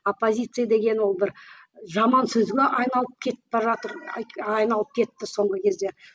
оппозиция деген ол бір жаман сөзге айналып кетіпбаратыр айналып кетті соңғы кезде